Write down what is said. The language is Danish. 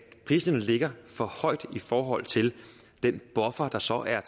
priserne ligger for højt i forhold til den buffer der så er